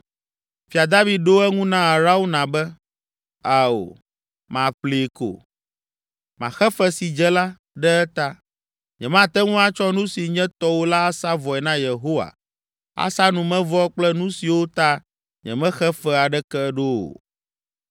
Fia David ɖo eŋu na Arauna be, “Ao, maƒlee ko. Maxe fe si dze la, ɖe eta. Nyemate ŋu atsɔ nu si nye tɔwò la asa vɔe na Yehowa, asa numevɔ kple nu siwo ta nyemexe fe aɖeke ɖo o!”